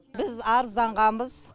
біз арызданғанбыз